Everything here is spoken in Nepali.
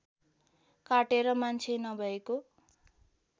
काटेर मान्छे नभएको